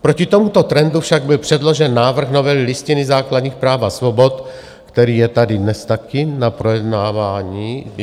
Proti tomuto trendu však byl předložen návrh novely Listiny základních práv a svobod, který je tady dnes taky na projednávání.